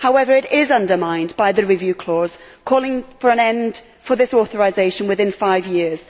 However, it is undermined by the review clause calling for an end for this authorisation within five years.